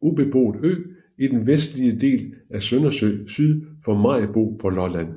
ubeboet ø i den vestlige del af Søndersø syd for Maribo på Lolland